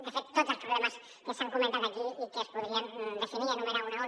de fet tots els problemes que s’han comentat aquí i que es podrien definir i enumerar d’un en un